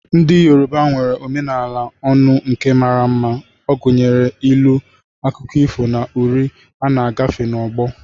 Ndị Yoruba nwere omenala ọnụ nke mara mma, gụnyere ilu, akụkọ ifo, na uri a na-agafe n'ọgbọ.